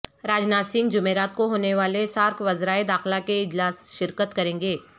راج ناتھ سنگھ جمعرات کو ہونے والے سارک وزرائے داخلہ کے اجلاس شرکت کریں گے